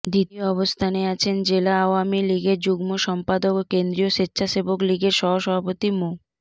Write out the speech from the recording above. দ্বিতীয় অবস্থানে আছেন জেলা আওয়ামী লীগের যুগ্ম সম্পাদক ও কেন্দ্রীয় স্বেচ্ছাসেবক লীগের সহসভাপতি মো